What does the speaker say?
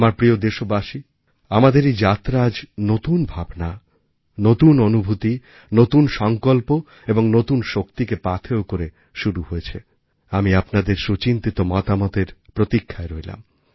আমার প্রিয় দেশবাসী আমাদের এই যাত্রা আজ নতুন ভাবনা নতুন অনুভূতি নতুন সংকল্প এবংনতুন শক্তিকে পাথেয় করে শুরু হয়েছে আমি আপনাদের সুচিন্তিত মতামতের প্রতীক্ষায় রইলাম